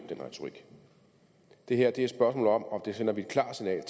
det her er et spørgsmål om og vi sender et klart signal